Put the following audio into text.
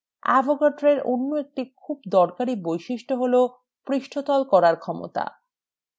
avogadro এর অন্য একটি খুব দরকারী বৈশিষ্ট্য হল পৃষ্ঠতল তৈরির ক্ষমতা